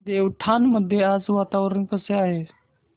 देवठाण मध्ये आज वातावरण कसे आहे